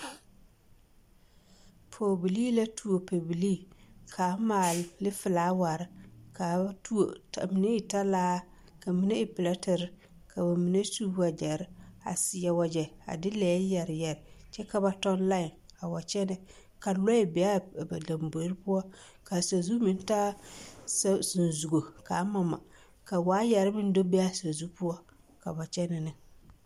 Pɔgebilii la tuo pɛbilii ka a maale pili felaware ka mine e talaare ka mine e piletere ka mine ka mine su wagyare a seɛ wagyare de de lɛɛ yare yare kyɛ ka ba tɔ laae a wa kyɛnɛ ka lɔɛ be a lamboe poɔ ka sazu meŋ taa sazugo ka a mama ka waayare meŋ be a sazu poɔ.